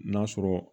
N'a sɔrɔ